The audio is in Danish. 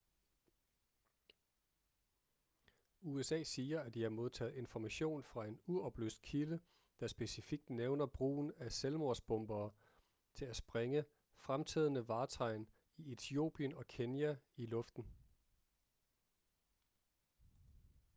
usa siger at de har modtaget information fra en uoplyst kilde der specifikt nævner brugen af ​​selvmordsbombere til at sprænge fremtrædende vartegn i etiopien og kenya i luften